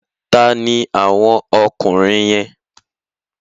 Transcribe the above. Ta ni àwọn ọkùnrin yẹn?